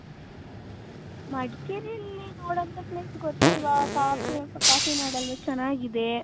ಮಡಕೇರಿ ಯಲ್ಲಿ ನೋಡುವಂತ place ಗೊತ್ತಲ್ವ ಕಾಫ್ಫೀ ನಾಡ್ ಅಲ್ವ ಚೆನ್ನಾಗಿದೆ .